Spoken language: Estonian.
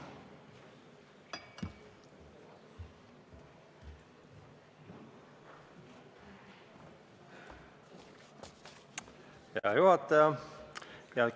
Hea juhataja!